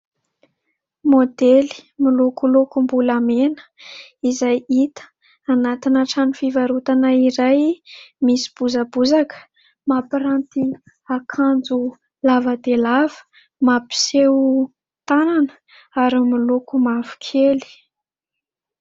Modely milokolokom-bolamena izay hita anatina trano fivarotana iray misy bozabozaka. Mampiranty akanjo lava dia lava mampiseho tanana ary miloko mavokely.